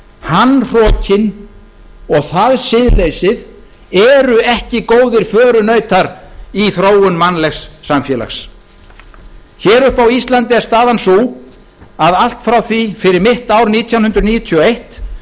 hann hrokinn og það siðleysið eru ekki góðir förunautar í þróun mannlegs samfélags hér uppi á íslandi er staðan sú að allt frá því fyrir mitt ár nítján hundruð níutíu og eitt